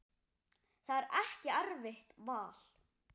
Það er ekki erfitt val.